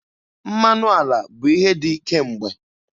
Mmanụ ala bụ ihe dị kemgbe.